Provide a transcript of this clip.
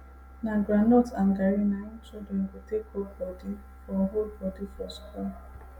na groundnut and garri na im children go take hold body for hold body for school